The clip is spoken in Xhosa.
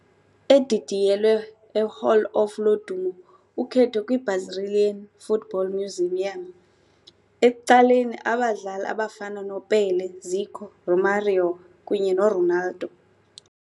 Edidiyelwe eHall of Lodumo ukhetho kwiBrazilian Football Museum, ecaleni abadlali abafana Pele, Zico, Romario kunye noRonaldo.